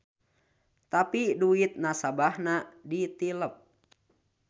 Tapi duit nasabahna ditilep.